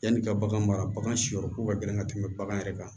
Yanni ka bagan mara bagan si yɔrɔ ko ka gɛlɛn ka tɛmɛ bagan yɛrɛ kan